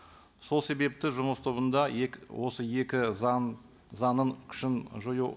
сол себепті жұмыс тобында осы екі заң заңның күшін жою